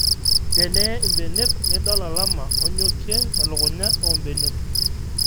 Teneye ebenek nidol olama onyokie telukunya oo mbenek